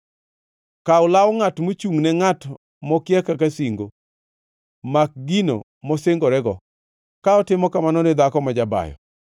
Kaw law ngʼat mochungʼne ngʼat mokia kaka singo; mak gino mosingorego, ka otimo kamano ni dhako majabayo.